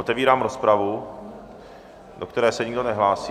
Otevírám rozpravu, do které se nikdo nehlásí.